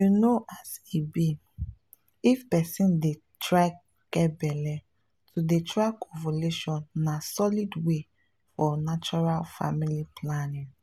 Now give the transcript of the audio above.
you know as e be — if person dey dey try get belle to dey track ovulation na solid way for natural family planning.